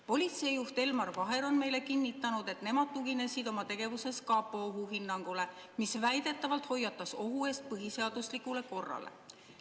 Politseijuht Elmar Vaher on meile kinnitanud, et nemad tuginesid oma tegevuses kapo ohuhinnangule, mis väidetavalt hoiatas ohu eest põhiseaduslikule korrale.